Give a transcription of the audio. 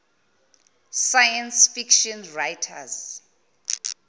science fiction writers